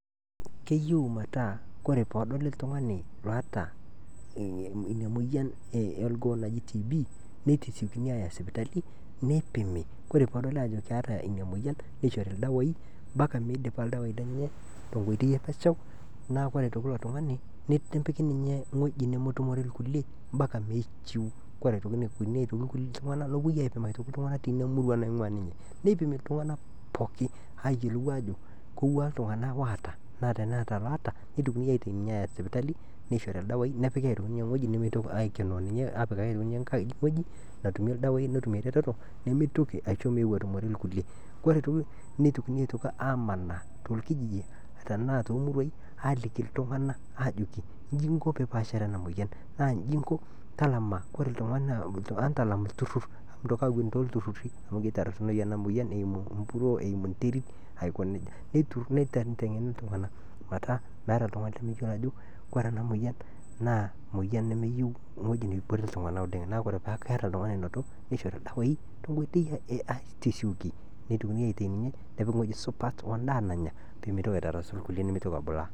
Keyieu metaa tenedoli oltung'ani oota ina moyian orgoo naji TB,nitasiekuni aaya sipitali nipimi ore peedoli aajo keeta ina moyian, nishori ildawai mpaka midipa ildawai lenye tenkoitoi enye. Nepiki ninye ewueji nemetumore irkulie mpaka neishiu, ore ake nitokini aitoki amanaa torkijiji tenaa tomuruai aaliki iltung'anak aajoki inji inko piipaashare ena moyian, naa inji inko talama ore oltung'ani, entalam ilturrur amu ketorronono ena moyian eimu empuruo, eimu enterit aiko neija. Neiteng'eni iltung'anak metaa meeta oltung'ani lemeyiolo ajo ore ena moyian nemeyieu ewueji nebore iltung'anak oleng', neeku ore ake paa keeta oltung'ani onoto nishori ildawai, netumi aiteng'eni nepiki ewueji supat namanya, peyie meitokini aitarasu irkulie nimitoki abulaa.